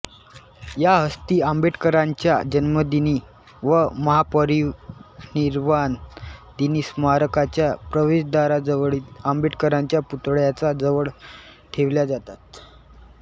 या अस्थी आंबेडकरांच्या जन्मदिनी व महापरिनिर्वाण दिनी स्मारकाच्या प्रवेशद्वारावजवळील आंबेडकरांच्या पुतळ्याच्या जवळ ठेवल्या जातात